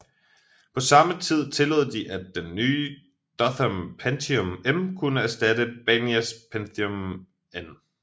På samme tid tillod de at den nye Dothan Pentium M kunne erstatte Banias Pentium M